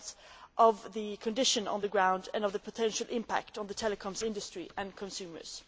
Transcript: account of conditions on the ground and of the potential impact on the telecoms industry and consumers.